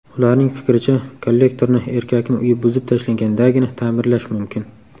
Ularning fikricha, kollektorni erkakning uyi buzib tashlangandagina ta’mirlash mumkin.